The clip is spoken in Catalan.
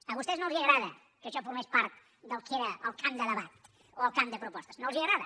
a vostès no els agrada que això formés part del que era el camp de debat o el camp de propostes no els agrada